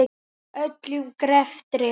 Öllum greftri